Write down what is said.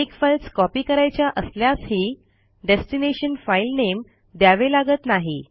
अनेक files copy करायच्या असल्यासही डेस्टिनेशन फाईल नेम द्यावे लागत नाही